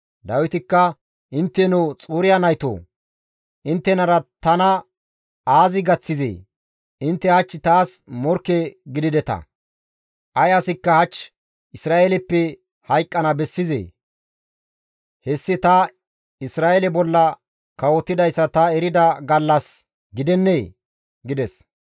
Dawitikka, «Intteno Xuriya naytoo; inttenara tana aazi gaththizee? Intte hach taas morkke gidideta! Ay asikka hach Isra7eeleppe hayqqana bessizee? Hessi ta Isra7eele bolla kawotidayssa ta erida gallas gidennee?» gides.